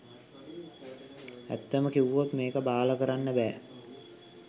ඇත්තම කිව්වොත් මේක බාල කරන්න බෑ